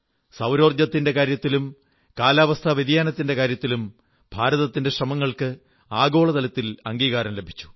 സൌരോർജ്ജത്തിന്റെ കാര്യത്തിലും കാലാവസ്ഥാ വ്യതിയാനത്തിന്റെ കാര്യത്തിലും ഭാരതത്തിന്റെ ശ്രമങ്ങൾക്ക് ആഗോള തലത്തിൽ അംഗീകാരം ലഭിച്ചു